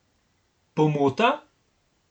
Pomota?